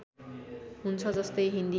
हुन्छ जस्तै हिन्दी